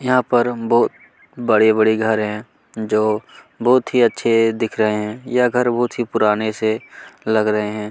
यहाँ पर बहुत ही बड़े-बड़े घर है जो बहुत ही अच्छे दिख रहे है यह घर बहुत ही पुराने से लग रहे है